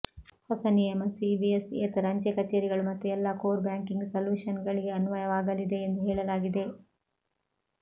ಹೊಸ ನಿಯಮ ಸಿಬಿಎಸ್ ಯೇತರ ಅಂಚೆ ಕಚೇರಿಗಳು ಮತ್ತು ಎಲ್ಲಾ ಕೋರ್ ಬ್ಯಾಂಕಿಂಗ್ ಸಲ್ಯೂಷನ್ ಗಳಿಗೆ ಅನ್ವಯವಾಗಲಿದೆ ಎಂದು ಹೇಳಲಾಗಿದೆ